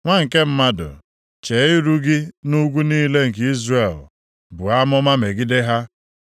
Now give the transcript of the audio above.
“Nwa nke mmadụ, chee iru gị nʼugwu niile nke nʼIzrel, buo amụma megide ha,